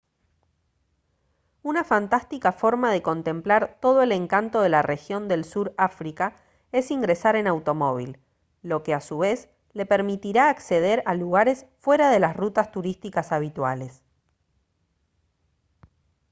una fantástica forma de contemplar todo el encanto de la región del sur áfrica es ingresar en automóvil lo que a su vez le permitirá acceder a lugares fuera de las rutas turísticas habituales